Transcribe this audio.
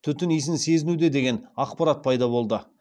түтін исін сезінуде деген ақпарат пайда болды